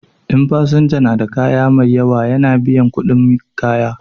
In fasinja na da kaya mai yawa ya na biyan kuɗin kayan.